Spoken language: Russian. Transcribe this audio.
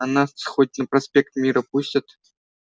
а нас хоть на проспект мира пустят